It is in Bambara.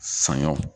Saɲɔ